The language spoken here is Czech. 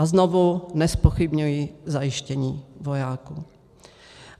A znovu, nezpochybňuji zajištění vojáků.